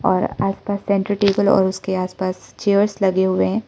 और आस पास सेंटर टेबल और उसके आस पास चेयर्स लगे हुए हैं।